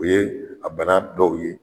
O ye a bana dɔw ye